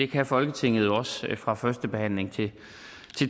kan folketinget jo også fra første behandling til